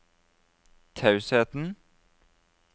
tausheten